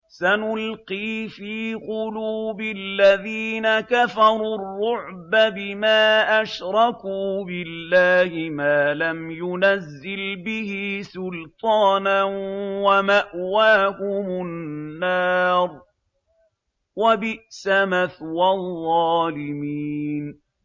سَنُلْقِي فِي قُلُوبِ الَّذِينَ كَفَرُوا الرُّعْبَ بِمَا أَشْرَكُوا بِاللَّهِ مَا لَمْ يُنَزِّلْ بِهِ سُلْطَانًا ۖ وَمَأْوَاهُمُ النَّارُ ۚ وَبِئْسَ مَثْوَى الظَّالِمِينَ